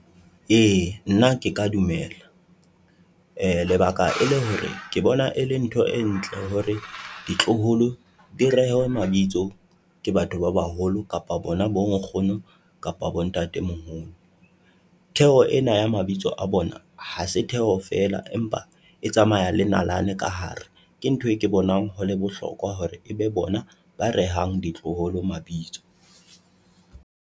E, nna ke ka dumela lebaka ele hore ke bona e le ntho e ntle hore ditloholo di rehwe mabitso ke batho ba baholo kapa bona bo nkgono kapa bo ntate-moholo. Theho ena ya mabitso a bona hase theho feela, empa e tsamaya le nalane ka hare, ke ntho e ke bonang hole bohlokwa hore ebe bona ba rehang ditloholo mabitso.